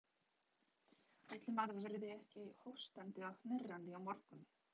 Ætli maður verði ekki hóstandi og hnerrandi á morgun.